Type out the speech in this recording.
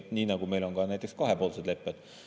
Nii nagu meil on näiteks kahepoolsed lepped.